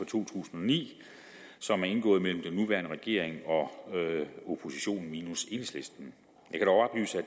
tusind og ni som er indgået mellem den nuværende regering og oppositionen minus enhedslisten